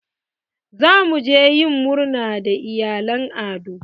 Za mu je yin murna da iyalan Ado.